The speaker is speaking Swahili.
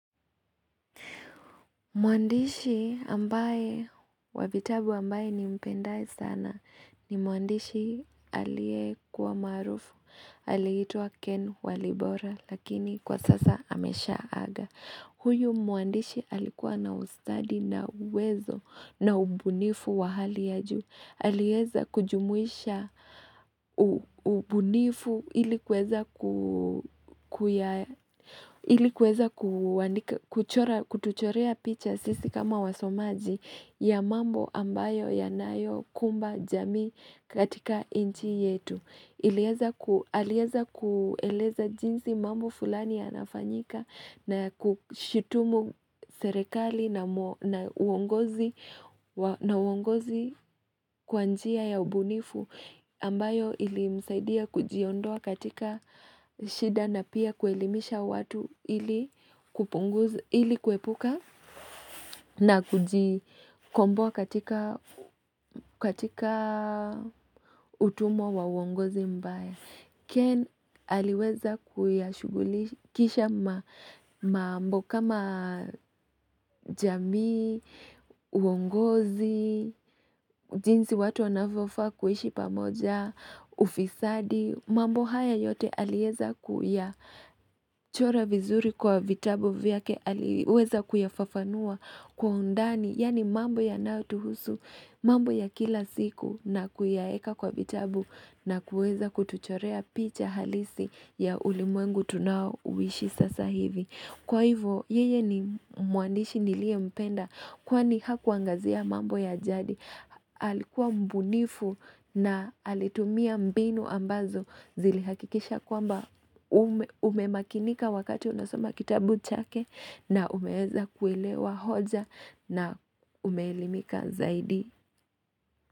Muandishi ambaye wavitabu ambaye nimpendaye sana ni muandishi aliyekuwa maarufu, aliitwa Ken Walibora lakini kwa sasa ameshaa aga. Huyo mwandishi alikuwa na ustadi na uwezo na ubunifu wa hali ya juu. Aliweza kujumuisha ubunifu ili kuweza ilikuweza kutuchorea picha sisi kama wasomaji ya mambo ambayo yanayo kumba jamii katika nchi yetu. Aliweza kueleza jinsi mambo fulani yanafanyika na kushitumu serikali na uongozi kwanjia ya ubunifu ambayo ilimsaidia kujiondoa katika shida na pia kuelimisha watu ili kupunguza, ili kuepuka na kujikomboa katika katika utumo wa uongozi mbaya. Ken aliweza kuyashugulikisha mambo kama jamii, uongozi, jinsi watu wanavyofaa kuishi pamoja, ufisadi, mambo haya yote aliweza kuyachora vizuri kwa vitabu vyake aliweza kuyafafanua kwa undani. Yaani mambo yanayo tuhusu, mambo ya kila siku na kuyaeka kwa vitabu na kuweza kutuchorea picha halisi ya ulimwengu tunao uishi sasa hivi Kwa hivyo yeye ni mwandishi nilie mpenda kwani hakuangazia mambo ya jadi alikuwa mbunifu na alitumia mbinu ambazo zilihakikisha kwamba umemakinika wakati unasoma kitabu chake na umeweza kuelewa hoja na umeelimika zaidi.